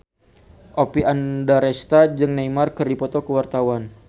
Oppie Andaresta jeung Neymar keur dipoto ku wartawan